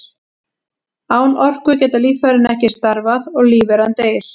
Án orku geta líffærin ekki starfað og lífveran deyr.